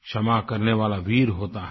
क्षमा करने वाला वीर होता है